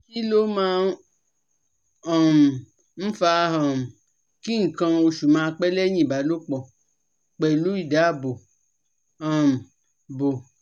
Kí ló máa um ń fa um ki nkan osu ma pẹ́ leyin ìbálòpọ̀ pelu idaabo um bo?